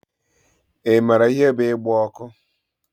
I maara ihe bú igbe ọkụ?